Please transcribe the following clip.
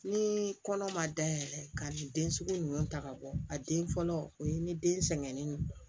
Ni kɔnɔ ma dayɛlɛ ka ni den sugu ninnu ta ka bɔ a den fɔlɔ o ye ni den sɛgɛnnen ye